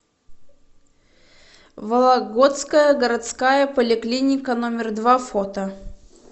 вологодская городская поликлиника номер два фото